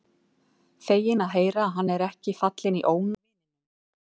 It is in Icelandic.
Feginn að heyra að hann er ekki fallinn í ónáð hjá vininum.